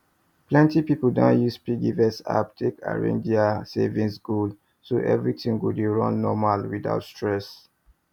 plenty people don use piggyvest app take arrange their saving goal so everything go dey run normal without stress